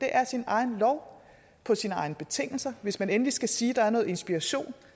er sin egen lov på sine egne betingelser hvis man endelig skal sige at der er noget inspiration